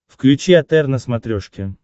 включи отр на смотрешке